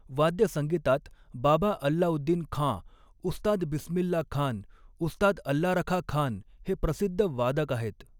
वाद्यसंगीतात बाबा अल्लाउद्दीन खाँ उस्ताद बिसमिल्ला खाऩ उस्ताद अल्लारखा खान हे प्रसिद्ध वादक आहेत.